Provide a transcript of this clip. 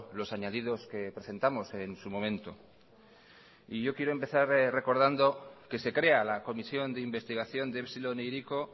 los añadidos que presentamos en su momento y yo quiero empezar recordando que se crea la comisión de investigación de epsilon e hiriko